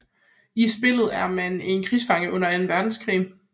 I spillet er man en krigsfange under anden verdenskrig